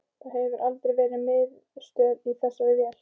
Það hefur aldrei verið miðstöð í þessari vél